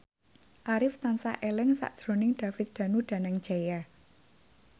Arif tansah eling sakjroning David Danu Danangjaya